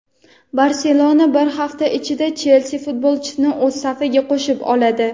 "Barselona" bir hafta ichida "Chelsi" futbolchisini o‘z safiga qo‘shib oladi;.